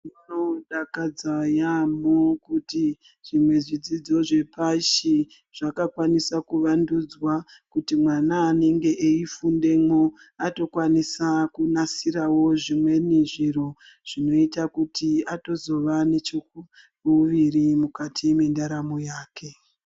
Zvinodakadza yaamho kuti zvimwe zvidzidzo zvepashi zvakakwanisa kuvandudzwa, kuti mwana anenge eifundemo atokwanisa kunasiravo, zvimweni zviro zvoita kuti atozvova necheuviri mukati mendaramo yake.